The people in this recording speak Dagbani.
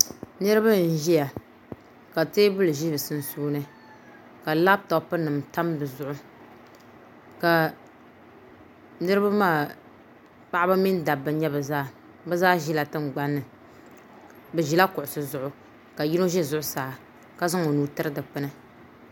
Niraba n ʒiya ka teebuli ʒi bi sunsuuni ka labtop nim tam di zuɣu ka niraba maa paɣaba mini dabba n nyɛ bi zaa bi zaa ʒila tingbanni bi ʒila kuɣusi zuɣu ka yino ʒɛ zuɣusaa ka zaŋ o nuu tiri dikpuni